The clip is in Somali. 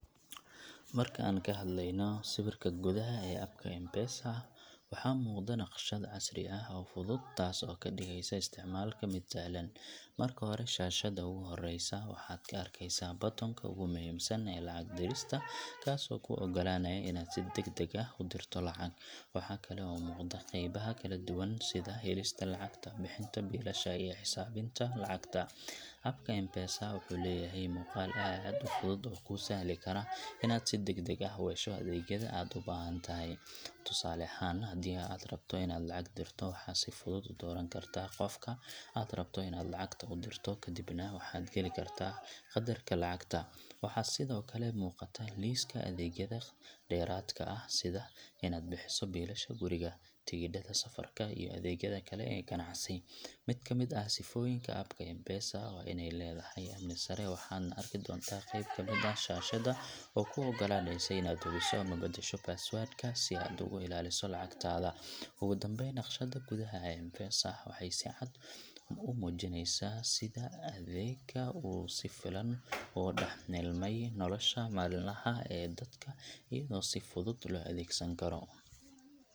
Marka aan ka hadlayno sawirka gudaha ee app ka M-Pesa, waxaa muuqda naqshad casri ah oo fudud, taas oo ka dhigaysa isticmaalka mid sahlan. Marka hore, shaashadda ugu horeysa waxaad ka arkaysaa button ka ugu muhiimsan ee lacag dirista, kaas oo kuu ogolaanaya inaad si degdeg ah u dirto lacag. Waxaa kale oo muuqda qeybaha kala duwan sida helista lacagta, bixinta biilasha, iyo xisaabinta lacagta. App ka M-Pesa wuxuu leeyahay muuqaal aad u fudud oo kuu sahli kara inaad si degdeg ah u hesho adeegyada aad u baahan tahay. Tusaale ahaan, haddii aad rabto inaad lacag dirto, waxaad si fudud u dooran kartaa qofka aad rabto inaad lacagta u dirto, kadibna waxaad gali kartaa qadarka lacagta. Waxaa sidoo kale muuqata liiska adeegyada dheeraadka ah, sida inaad bixiso biilasha guriga, tigidhada safarka, iyo adeegyada kale ee ganacsi. Mid ka mid ah sifooyinka app ka M-Pesa waa inay leedahay amni sare, waxaadna arki doontaa qeyb ka mid ah shaashadda oo kuu ogolaanaysa inaad hubiso ama bedesho password-kaaga si aad ugu ilaaliso lacagtaada. Ugu dambeyn, naqshadda gudaha ee M-Pesa waxay si cad u muujineysaa sida adeegga uu si fiican ugu dhex milmay nolosha maalinlaha ah ee dadka, iyadoo si fudud loo adeegsan karo.